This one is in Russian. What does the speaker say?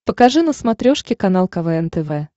покажи на смотрешке канал квн тв